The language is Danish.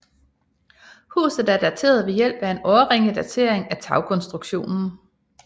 Huset er dateret ved hjælp af årringedatering af tagkonstruktionen